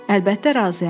Əlbəttə razıyam.